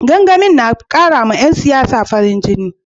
Gangamin na karawa 'yan siyasa farin jini